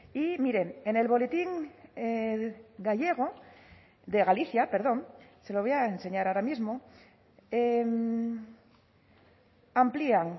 y miren en el boletín gallego de galicia perdón se lo voy a enseñar ahora mismo amplían